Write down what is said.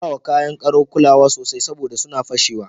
Ka bawa kaya karau kulawa sosai saboda sunna fashewa.